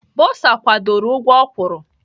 Bọsa kwadoro ụgwọ o kwuru.